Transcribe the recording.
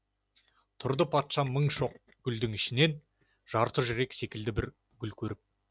тұрды патша мың шоқ гүлдің ішінен жарты жүрек секілді бір гүл көріп